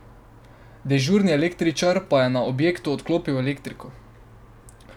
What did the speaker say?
Dežurni električar pa je na objektu odklopil elektriko.